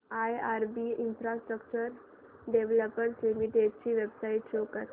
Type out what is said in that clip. IRB infrastructure developers limited ची website show करा